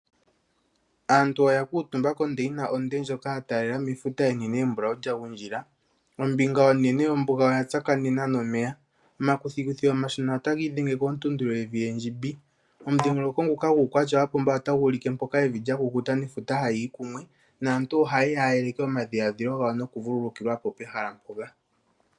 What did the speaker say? Aantu oya kuutumba kondeyina onde ndjoka ya taalela mefuta onene embulawu kya gundjila. Ombinga onene yombuga oya tsakanena nomeya. Omakuthikuthi omashona otaga idhenge kontuntu yevi endjimbi . Omudhingoloko nguka guukwatya wapumba otagu ulike mpoka evi lya kukuta nefuta hayiyi kumwe, naantu ohayeya ya yeleke omadhilaadhilo gawo noku vululukilwa mpoka.